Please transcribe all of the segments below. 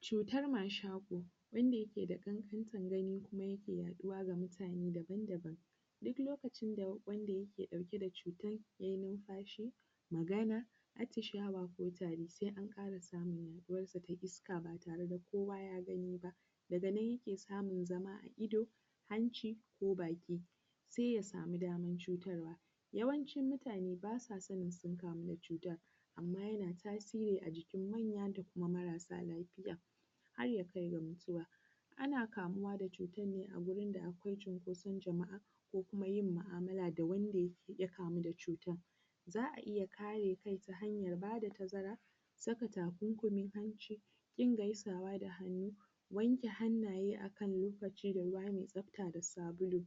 cutar mashaƙo wanda yake da ƙanƙantan gani kuma yake yaɗuwa ga mutane daban daban duk lokacin wanda yake ɗauke da cutan yai numfashi magana atishawa ko tari sai an ƙara samun yaɗuwan da ta isa ba sai kowa ya gani ba daga nan yake samun zama a ido hanci ko baki sai ya samu damar cutarwa yawancin mutane ba sa sanin sun kamu da cutar amma kuma yana tasiri a jikin manyan da kuma matasa lafiya har ya kai ga mutuwa ana kamuwa da cuta ne a gurin da akwai cinkoson jama'a ko kuma yin ma'amala da wanda ya kamu da cutan za a iya kare kai ta hanyar ba da tazara ta saka takunkumin hanci ƙin gaisawa da hannu wanke hannaye a kan lokaci da ruwa mai tsafta da sabulu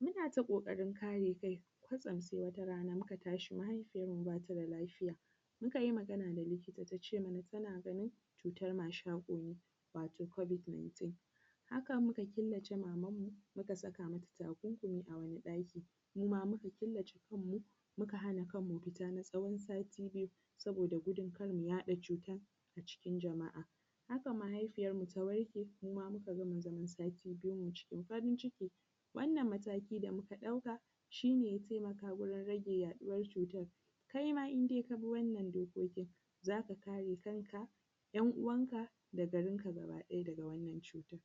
muna ta ƙoƙarin kare kai kwatsam sai wata rana muka tashi mahaifiyarmu ba ta da lafiya muka yi magana da likita ta ce mana tana ganin cutar mashaƙo ne wato covid- 19 haka muka killace mamanmu muka saka mata takunkumi a wani ɗaki muma muka killace kanmu muka hana kanmu fita na tsawon sati biyu saboda gudun kar mu yaɗa cutan a cikin jama'a haka mahaifiyarmu ta warke muma muka gama zaman sati biyun mu cikin farin ciki wannan mataki da muka ɗauka shi ne ya taimaka gurin rage yaɗuwan cutan kai ma in dai ka bi wannan dokokin za ka kare kan ka ‘yan uwanka da garinka gaba ɗaya daga wannan cuta